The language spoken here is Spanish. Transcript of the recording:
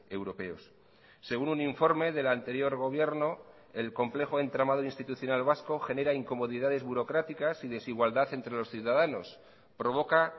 europeos según un informe del anterior gobierno el complejo entramado institucional vasco genera incomodidades burocráticas y desigualdad entre los ciudadanos provoca